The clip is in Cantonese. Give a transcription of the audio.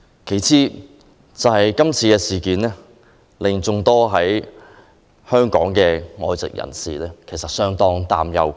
其次，今次事件令眾多在香港的外籍人士相當擔憂。